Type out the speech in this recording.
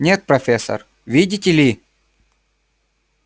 нет профессор видите ли